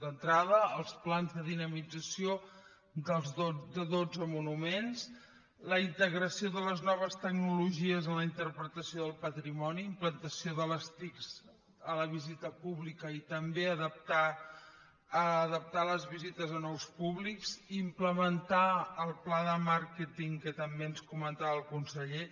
d’entrada els plans de dinamització de dotze monuments la integració de les noves tecnologies a la interpretació del patrimoni implantació de les tic a la visita pública i també adaptar les visites a nous públics implementar el pla de màrqueting que també ens comentava el conseller